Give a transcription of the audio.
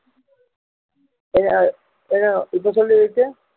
என்ன அஹ் என்ன அஹ் இப்போ சொல்லு விவேக்